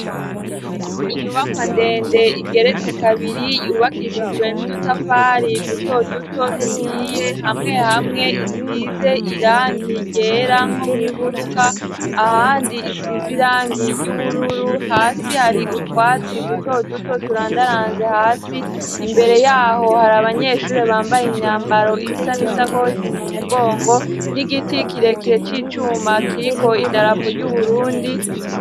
Inyubakwa ndende igeretse kabiri yubakishijwe n'udutafari duto duto duhiye hamwe hamwe isize irangi ryera nko mu ifuruka ahandi isize irangi ry'ubururu hasi hari utwatsi duto duto turandaranze hasi imbere yaho hari abanyeshuri bambaye imyambaro isa n'isakosi mu mugongo n'igiti kirekire c'icuma kiriko idarapo ry'uburundi.